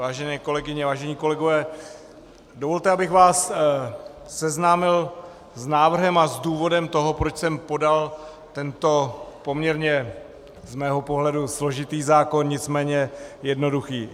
Vážené kolegyně, vážení kolegové, dovolte, abych vás seznámil s návrhem a s důvodem toho, proč jsem podal tento poměrně z mého pohledu složitý zákon, nicméně jednoduchý.